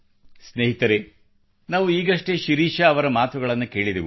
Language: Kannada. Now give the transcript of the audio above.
ಸ್ನೇಹಿತರೆ ನಾವು ಈಗಷ್ಟೇ ಶಿರೀಷಾ ಅವರ ಮಾತುಗಳನ್ನು ಕೇಳಿದೆವು